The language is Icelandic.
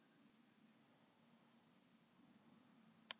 Við ætlum að telja kúlurnar sem eru að minnsta kosti á annað hundrað.